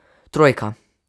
Trojka.